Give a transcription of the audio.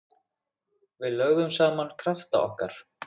Við lögðum saman krafta okkar.